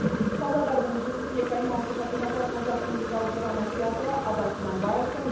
павлодардың жүсіпбек аймауытов атындағы қазақ музыкалық драма театры абай құнанбаевтың